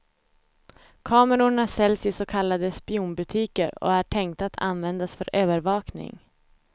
Kamerorna säljs i så kallade spionbutiker och är tänkta att användas för övervakning.